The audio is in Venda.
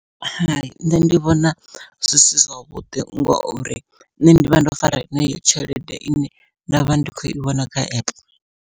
Hai nṋe ndi vhona zwi si zwavhuḓi ngori nṋe ndivha ndo fara heneyo tshelede ine ndavha ndi khou i vhona kha epe.